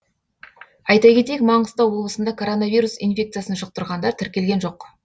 айта кетейік маңғыстау облысында коронавирус инфекциясын жұқтырғандар тіркелген жоқ